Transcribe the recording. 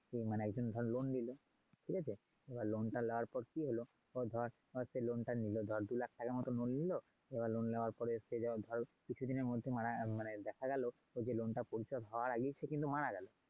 তো মানে একজন ধর loan নিলো। ঠিক আছে? এবার loan টা নাওয়ার পর কি হল ধর~ ধর সে loan টা নিলো, ধর দু লাখ টাকার মতন loan নিলো এবার কিছু দিনের মধ্যে মারা মানে দেখা গেলো loan টা পরিশোধ হওয়ার আগেই সে কিন্তু মারা গেলো।